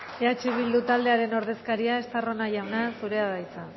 eh bildu taldearen ordezkaria estarrona jauna zurea da hitza